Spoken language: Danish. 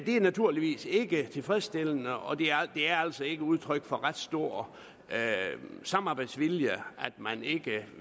er naturligvis ikke tilfredsstillende og det er altså ikke udtryk for ret stor samarbejdsvilje at man ikke